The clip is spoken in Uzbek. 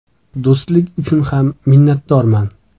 Do‘stlik uchun ham minnatdorman.